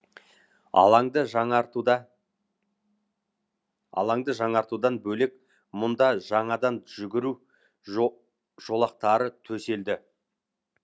алаңды жаңартудан бөлек мұнда жаңадан жүгіру жолақтары төселді